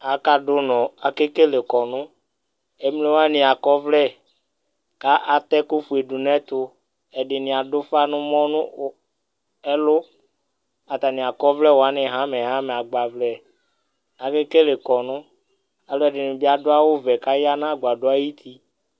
aka do unɔ ake kele kɔnu emlo wani akɔ ɔvlɛ k'ata ɛko fue do n'ɛto ɛdini ado ufa n'ɛmɔ n'ɛlò atani akɔ ɔvlɛ wani hamɛ hamɛ agbavlɛ ake kele kɔnu aloɛdini bi ado awu vɛ k'aya n'agbadɔɛ ayiti